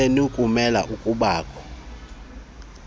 senu kumele ukubakho